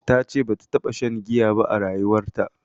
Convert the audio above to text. Tace bata taɓa shan giya ba a rayuwarta